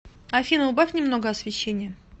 афина убавь немного освещение